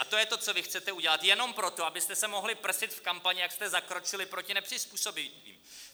A to je to, co vy chcete udělat jenom proto, abyste se mohli prsit v kampani, jak jste zakročili proti nepřizpůsobivým.